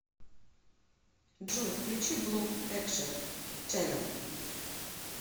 джой включи блок экшен ченнэл